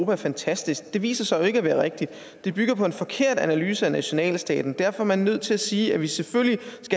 er fantastisk det viser sig jo ikke at være rigtigt det bygger på en forkert analyse af nationalstaten derfor er man nødt til at sige at vi skal selvfølgelig